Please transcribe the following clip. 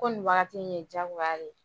Ko nin wagati in ye jagoya de ye